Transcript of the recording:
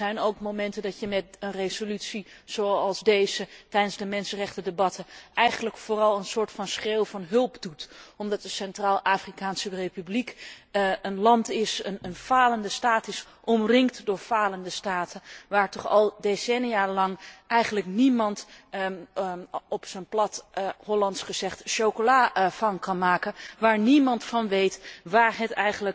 Er zijn ook momenten dat je met een resolutie zoals deze tijdens de mensenrechtendebatten eigenlijk vooral een soort van schreeuw om hulp doet, omdat de Centraal Afrikaanse Republiek een land is, een falende staat is, omringd door falende staten, waar toch al decennia lang eigenlijk niemand op zijn plat Hollands gezegd chocola van kan maken, waar niemand van weet waar het